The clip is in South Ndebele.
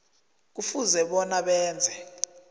kufuze bona benze